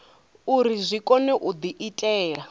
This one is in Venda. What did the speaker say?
uri zwi kone u diitela